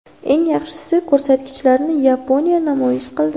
Eng yaxshi ko‘rsatkichlarni Yaponiya namoyish qildi.